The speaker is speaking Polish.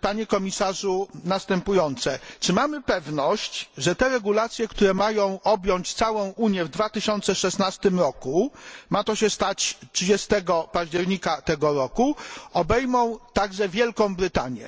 Panie Komisarzu, moje pytanie jest następujące czy mamy pewność, że te regulacje, które mają objąć całą Unię w 2016 roku ma to się stać 30 października tego roku obejmą także Wielką Brytanię?